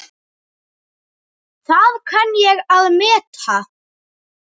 Það kann ég að meta.